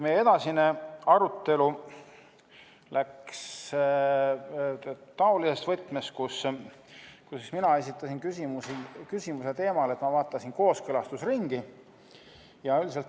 Meie edasine arutelu läks taolises võtmes, kus mina esitasin küsimuse kooskõlastusringi teemal.